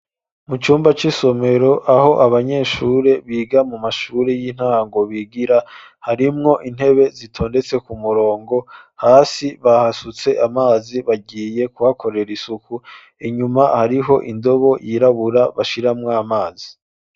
Mu cumba c'isomero aho abanyeshuri biga mu mashuri y'intango bigira harimwo intebe zitondetse ku murongo hasi bahasutse amazi bagiye kuhakorera isuku inyuma hariho indobo yirabura bashiramwa amazi.